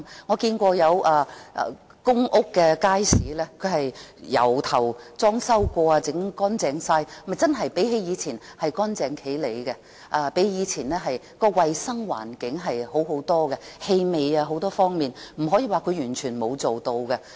我見過有公屋的街市重新裝修和翻新過後，真的較以前整齊清潔，衞生環境更好，氣味等方面改善了，不可以說它甚麼也沒有做。